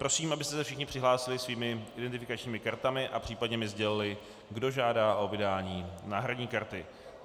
Prosím, abyste se všichni přihlásili svými identifikačními kartami a případně mi oznámili, kdo žádá o vydání náhradní karty.